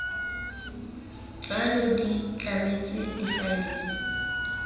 tlwaelo di tlametswe difaele tse